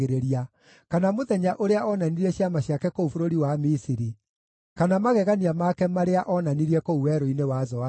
kana mũthenya ũrĩa onanirie ciama ciake kũu bũrũri wa Misiri, kana magegania make marĩa onanirie kũu werũ-inĩ wa Zoani.